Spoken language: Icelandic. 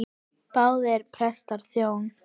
Báðir prestar þjóna.